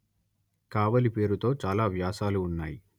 కావలి పేరుతో చాలా వ్యాసాలు ఉన్నాయి